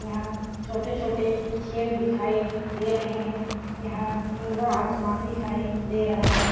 यहाँ छोटे-छोटे छेद दिखाई दे रहे है। यहाँ नीला आसमान दिखाई दे रहा है।